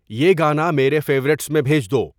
یہ گانا میرے فیورٹس میں بھیج دو